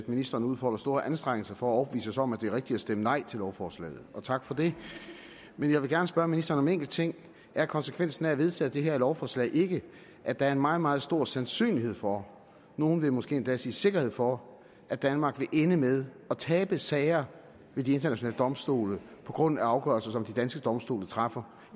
ministeren udfolder store anstrengelser for at overbevise os om at det er rigtigt at stemme nej til lovforslaget og tak for det men jeg vil gerne spørge ministeren enkelt ting er konsekvensen af at vedtage det her lovforslag ikke at der er en meget meget stor sandsynlighed for nogle vil måske endda sige sikkerhed for at danmark vil ende med at tabe sager ved de internationale domstole på grund af afgørelser som de danske domstole træffer